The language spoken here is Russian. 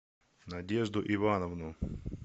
надежду ивановну